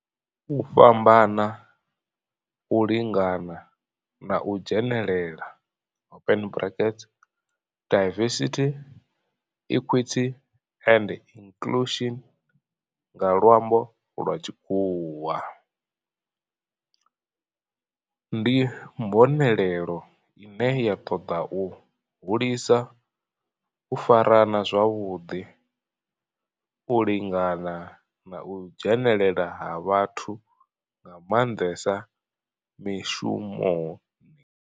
U fhambana, u lingana na u dzhenelela diversity, equity and inclusion nga lwambo lwa tshikhuwa ndi mbonelelo ine ya toda u hulisa u farana zwavhudi, u lingana na u dzhenelela ha vhathu nga mandesa mishumoni.